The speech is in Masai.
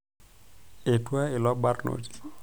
Etua ilo barnoti.